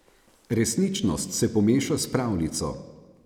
Resničnost se pomeša s pravljico.